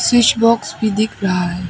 Switch box भी दिख रहा है।